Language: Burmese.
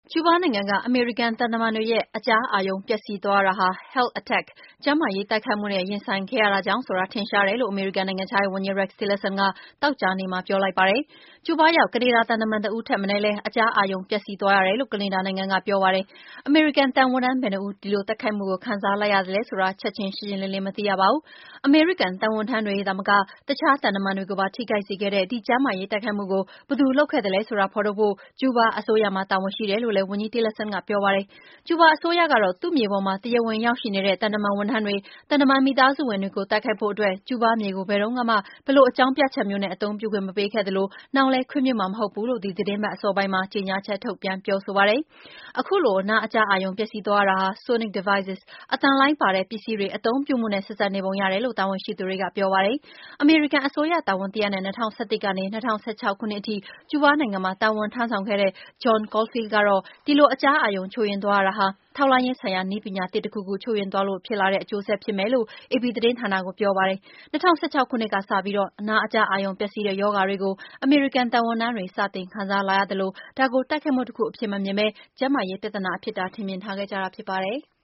ကျူးဘားနိုင်ငံက အမေရိကန်သံတမန်တွေရဲ့ အကြားအာရုံပျက်စီးသွားရတာဟာ "Health Attack" ကျန်းမာရေး ထိခိုက်အောင် တိုက်ခိုက်တာနဲ့ရင်ဆိုင်ခဲ့ရတာကြောင့်ဖြစ်တယ်ဆိုတာ ထင်ရှားတယ်လို့ အမေရိကန်နိုင်ငံခြားရေးဝန်ကြီး Rex Tillerson ကသောကြာနေ့မှာ ပြောလိုက်ပါတယ်။ ကျူးဘာရောက် ကနေဒါ သံတမန်တဦးထက်မနည်းလည်း အကြားအာရုံပျက်စီးသွားတယ်လို့ ကနေဒါနိုင်ငံက ပြောပါတယ်။ အမေရိကန်သံဝန်ထမ်း ဘယ်နှစ်ဦး ဒီတိုက်ခိုက်မှုကို ခံစားလိုက်ရသလဲဆိုတာ ချက်ချင်းရှင်းရှင်းလင်းလင်း မသိရပါဘူး။ အမေရိကန် သံဝန်ထမ်းတွေသာမက အခြား သံတမန်တွေကိုပါ ထိခိုက်စေခဲ့တဲ့ ဒီလို ကျန်းမာရေး ထိခိုက်အောင် တိုက်ခိုက်တာကို ဘယ်သူလုပ်ခဲ့သလဲဆိုတာ ဖော်ထုတ်ဖို့ ကျူးဘားအစိုးရမှာ တာဝန်ရှိတယ်လို့လည်းဝန်ကြီး Tillerson ကပြောပါတယ်။ ကျူးဘားအစိုးရကတော့ သူ့မြေပေါ် တရားဝင်ရောက်ရှိနေတဲ့ သံတမန်ဝန်ထမ်းတွေ၊ သံတမန် မိသားစုဝင်တွေကို တိုက်ခိုက်ဖို့အတွက် ကျူးဘားမြေကို ဘယ်လိုအကြောင်းပြချက်မျိုးနဲ့ မှအသုံးပြုခွင့််မပေးခဲ့သလို၊နောင်လဲခွင့်ပြုမှာမဟုတ်ဘူးလို့ ဒီသီတင်းပတ်အစောပိုင်းမှာ ကြေငြာချက်ထုတ်ပြန်ပြောဆိုပါတယ်။ ခုလို အကြားအာရုံ ပျက်စီးသွားတာဟာ အသံလှိုင်းပါတဲ့ ပစ္စည်း Sonic devices တွေ အသုံးပြုမှုနဲ့ ဆက်စပ်နေပုံရတယ်လို့ တာဝန်ရှိသူတွေက ပြောပါတယ်။ အမေရိကန်အစိုးရတာဝန်တရပ်နဲ့ ၂၀၁၁ ကနေ ၂၀၁၆ ခုနှစ်ထိ ကျူးဘားနိုင်ငံမှာ တာဝန်ထမ်းဆောင်ခဲ့တဲ့ John Caulfield ကတော့ ဒီလိုအကြားအာရုံချို့ယွင်းသွားရတာဟာ ထောက်လှမ်းရေးဆိုင်ရာနည်းပညာသစ် တခုခု ချို့ယွင်းသွားလို့ ဖြစ်လာတဲ့ အကျိုးဆက်ဖြစ်နိုင်တယ်လို့ AP သတင်းဌာနကိုပြောပါတယ်။ ၂၀၁၆ ခုနှစ်ကစပြီး အကြားအာရုံပျက်စီးတဲ့ရောဂါတွေကို အမေရိကန် သံဝန်ထမ်းတွေ စတင်ခံစားလာရသလို ဒါကို တိုက်ခိုက်မှုတခုအဖြစ်မမြင်ပဲ ကျန်းမာရေးချို့ယွင်းမှုအဖြစ် ထင်မြင်ထားခဲ့ကြတာဖြစ်ပါတယ်။